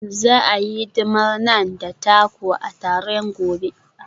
Za a yi hidimar Naan da taco a taron gobe.